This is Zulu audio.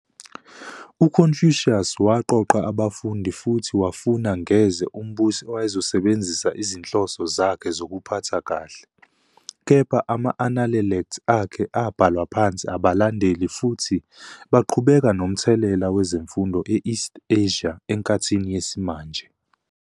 UConfucius waqoqa abafundi futhi wafuna ngeze umbusi owayezosebenzisa izinhloso zakhe zokuphatha kahle, kepha ama-Analelect akhe abhalwa phansi abalandeli futhi baqhubeka nomthelela kwezemfundo e-East Asia enkathini yesimanje.